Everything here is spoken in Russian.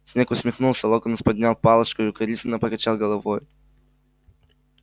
снегг усмехнулся локонс поднял палочку и укоризненно покачал головой